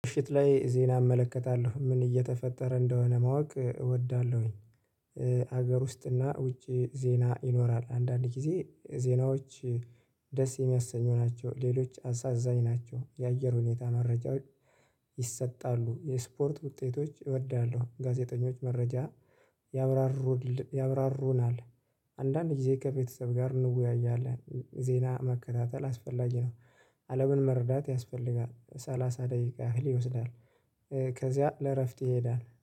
ምሽት ላይ ዜና እመለከታለሁ ምን እየተፈጠረ እንደሆነ ማወቅ እወዳለሁኝ። ሀገር ውስጥና ውጪ ዜና ይኖራል አንዳንድ ጊዜ ዜናዎች። ደስ የሚያሰኙ ናቸው ሌሎች አሳዛኝ ናቸው የአየር ሁኔታ መረጃዎች። ይሰጣሉ የስፖርት ውጤቶች እወዳለሁ ጋዜጠኞች መረጃ ያብራሩናል። አንዳንድ ጊዜ ከቤተሰብ ጋር እንወያያለን ዜና መከታተል አስፈላጊ ነው። አለምን መረዳት ያስፈልጋል ሰላሳ ደቂቃ ያህል ይወስዳል። ከዚያ ለእረፍት ይሄዳል።